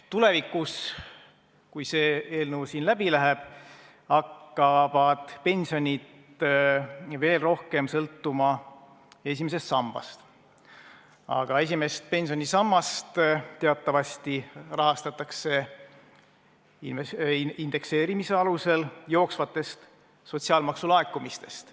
Tulevikus, kui see eelnõu siin läbi läheb, hakkavad pensionid veel rohkem sõltuma esimesest sambast, aga esimest pensionisammast teatavasti rahastatakse indekseerimise alusel jooksvatest sotsiaalmaksulaekumistest.